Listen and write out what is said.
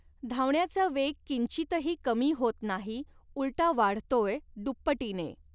धावण्याचा वेग किंचितही कमी होत नाही उलटा वाढतोय दुप्पटीने